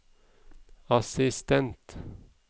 assistent